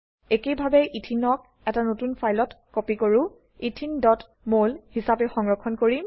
একেইভাবে Etheneক ইথিন এটা নতুন ফাইলত কপি কৰো etheneমল হিসাবে সংৰক্ষণ কৰিম